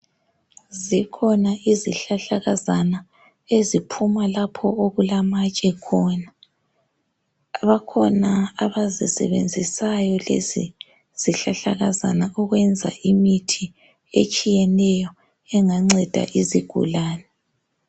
Zikhona izihlahlakazana eziphuma lapho okulamatshe khona bakhona abazisebenzisayo lezi zihlahlakazana ukwenza imithi etshiyeneyo enganceda izigulane.